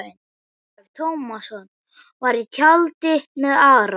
Ólafur Tómasson var í tjaldi með Ara.